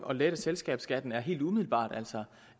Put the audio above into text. at lette selskabsskatten er helt umiddelbart altså